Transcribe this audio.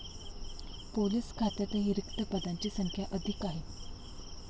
Police खात्यातही रिक्त पदांची संख्या अधिक आहे.